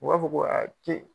U b'a fɔ ko k'e